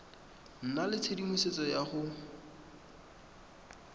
nna le tshedimosetso ya go